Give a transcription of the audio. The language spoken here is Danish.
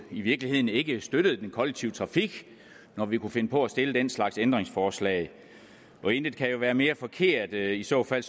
i virkeligheden ikke støttede den kollektive trafik når vi kunne finde på at stille den slags ændringsforslag intet kan jo være mere forkert i så fald